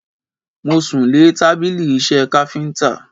Mo sùn lé tábìlì iṣẹ́ káfíntà.